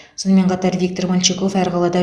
сонымен қатар виктор мальчиков әр қалада